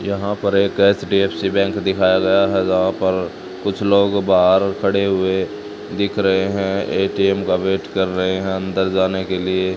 यहां पर एक एच_डी_एफ_सी बैंक दिखाया गया है जहां पर कुछ लोग बाहर खड़े हुए दिख रहे हैं ए_टी_एम का वेट कर रहे हैं अंदर जाने के लिए--